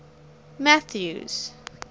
mathews